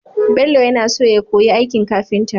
Bello ya naso ya koyi aikin kafinta